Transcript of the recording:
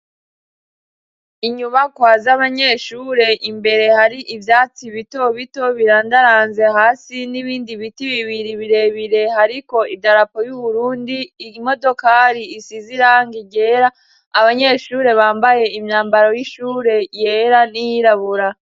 Inyubakwa z'abanyeshure imbere hari ivyatsi bito bito birandaranze hasi n'ibindi biti bibiri birebire hariko idarapo y'uburundi, imodokari isize irangi ryera, abanyeshure bambaye imyambaro y'ishure yera n'iyirabura.